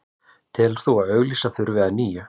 Telur að auglýsa þurfi að nýju